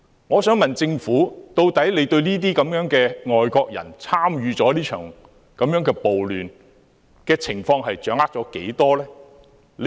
我想問政府，究竟對這些外國人參與這場暴亂的情況掌握了多少？